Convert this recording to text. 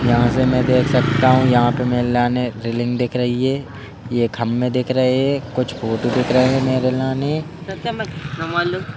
यहां से मैं देख सकता हूं यहां पे रेलिंग दिख रही है। यह ख़म्बे दिख रहे हैं कुछ फोटो देख रहे हैं।